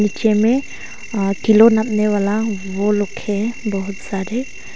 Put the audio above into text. में अ किलो नापने वाला वो रखे है बहुत सारे।